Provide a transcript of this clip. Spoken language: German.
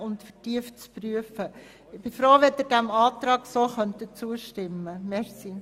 Ich wäre froh, wenn Sie diesem Antrag so zustimmen könnten.